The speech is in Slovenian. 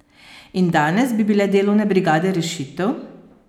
In danes, bi bile delovne brigade rešitev?